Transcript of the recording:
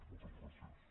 moltes gràcies